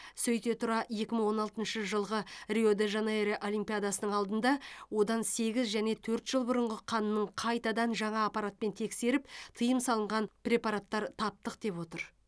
сөйте тұра екі мың он алтыншы жылғы рио де жанейро олимпиадасының алдында одан сегіз және төрт жыл бұрыңғы қанның қайтадан жаңа апаратпен тексеріп тыйым салынған препараттар таптық деп отыр